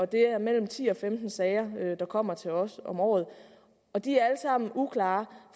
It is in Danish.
det er mellem ti og femten sager der kommer til os om året og de er alle sammen uklare